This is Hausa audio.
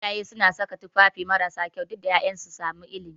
Iyaye sukan saka tufafi marasa kyau duk da ƴaƴansu su sami ilimi